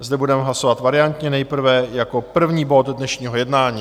Zde budeme hlasovat variantně, nejprve jako první bod dnešního jednání.